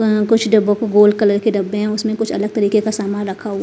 अह कुछ डब्बों को गोल कलर के डब्बे हैं उसमें कुछ अलग तरीके का सामान रखा हुआ--